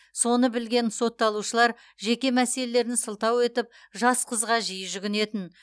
соны білген сотталушылар жеке мәселелерін сылтау етіп жас қызға жиі жүгінетін